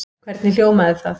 Hvernig hljómaði það?